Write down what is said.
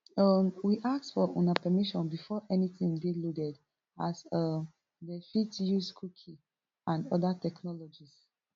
um we ask for una permission before anytin dey loaded as um dem fit dey use cookies and oda technologies